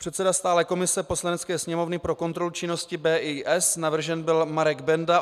Předseda stálé komise Poslanecké sněmovny pro kontrolu činnosti BIS - navržen byl Marek Benda.